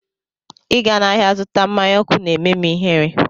Ịga n'ahịa zụta mmanya ọkụ na-eme m ihere